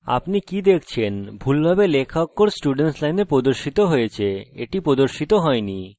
আপনি কি দেখছেন ভুলভাবে লেখা অক্ষর students line প্রদর্শিত হয়েছে এটি প্রদর্শিত হয়নি